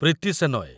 Preeti Shenoy